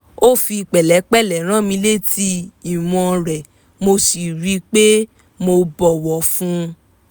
ó fi pẹ̀lẹ́pẹ̀lẹ́ rán mi létí ìwọ̀n rẹ̀ mo sì rí i pé mo bọ̀wọ̀ fún un